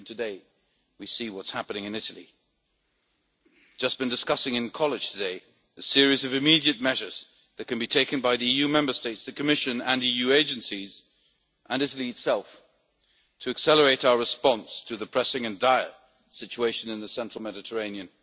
Today we see what is happening in Italy, and we have just been discussing in the College of Commissioners today the series of immediate measures that can be taken by the EU Member States, the Commission, the EU agencies and Italy itself to accelerate our response to the pressing and dire situation in the central Mediterranean.